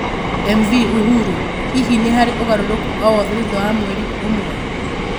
MV Uhuru ,Hihi nĩ harĩ ũgarũrũku o wothe thutha wa mweri ũmwe?